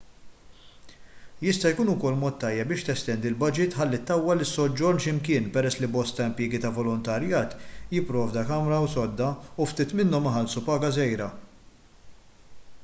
jista' jkun ukoll mod tajjeb biex testendi l-baġit ħalli ttawwal is-soġġorn x'imkien peress li bosta impjiegi ta' volontarjat jipprovdu kamra u sodda u ftit minnhom iħallsu paga żgħira